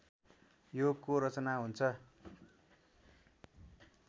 योगको रचना हुन्छ